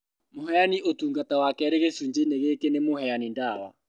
Mũheani ũtungata wa kerĩ gĩcunjĩ-inĩ gĩkĩ nĩ mũheani ndawa